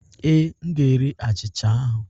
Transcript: Ee, m ga-eri achịcha ahụ.